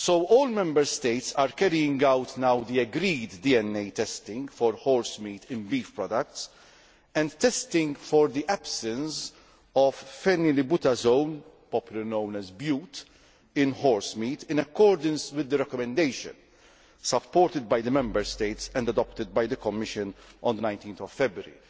All Member States are carrying out now the agreed DNA testing for horsemeat in beef products and testing for the absence of phenylbutazone, popularly known as bute, in horsemeat in accordance with the recommendation supported by the Member States and adopted by the Commission on 19 February